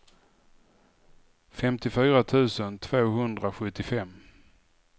femtiofyra tusen tvåhundrasjuttiofem